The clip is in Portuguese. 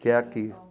Que é aqui.